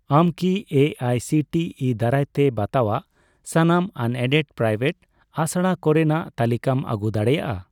ᱟᱢ ᱠᱤ ᱮ ᱟᱭ ᱥᱤ ᱴᱤ ᱤ ᱫᱟᱨᱟᱭᱛᱮ ᱵᱟᱛᱟᱣᱟᱜ ᱥᱟᱱᱟᱢ ᱟᱱᱮᱰᱮᱰᱼᱯᱨᱟᱭᱣᱮᱴ ᱟᱥᱲᱟ ᱠᱚᱨᱮᱱᱟᱜ ᱛᱟᱞᱤᱠᱟᱢ ᱟᱹᱜᱩ ᱫᱟᱲᱮᱭᱟᱜᱼᱟ ?